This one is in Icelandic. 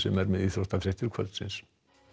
er með íþróttafréttir kvöldsins